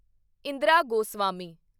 Indira Goswami